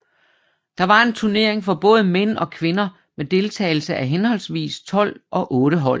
Der var en turnering for både mænd og kvinder med deltagelse af henholdsvis tolv og otte hold